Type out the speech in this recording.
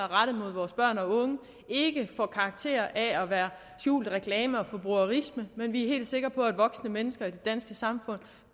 rettet mod vores børn og unge ikke får karakter af at være skjulte reklamer og forbrugerisme men vi er helt sikre på at voksne mennesker i det danske samfund